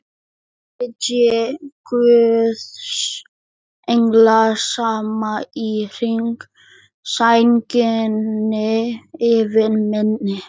Sitji guðs englar saman í hring, sænginni yfir minni.